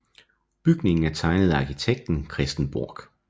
Bygningen er tegnet af arkitekten Christen Borch